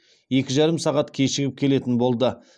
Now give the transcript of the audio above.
екі жарым сағат кешігіп келетін болды